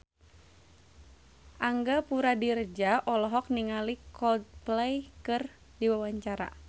Angga Puradiredja olohok ningali Coldplay keur diwawancara